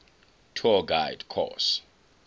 tour guide course